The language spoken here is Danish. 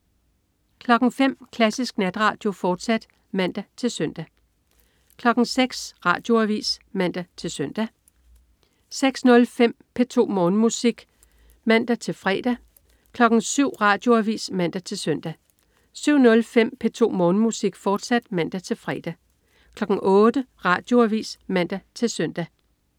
05.00 Klassisk Natradio, fortsat (man-søn) 06.00 Radioavis (man-søn) 06.05 P2 Morgenmusik (man-fre) 07.00 Radioavis (man-søn) 07.05 P2 Morgenmusik, fortsat (man-fre) 08.00 Radioavis (man-søn)